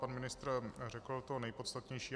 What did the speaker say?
Pan ministr řekl to nejpodstatnější.